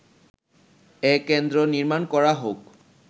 এ কেন্দ্র নির্মাণ করা হোক”